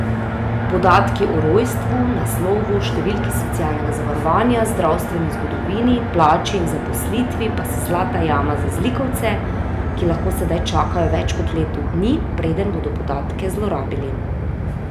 Podatki o rojstvu, naslovu, številki socialnega zavarovanja, zdravstveni zgodovini, plači in zaposlitvi pa so zlata jama za zlikovce, ki lahko sedaj čakajo več kot leto dni, preden bodo podatke zlorabili.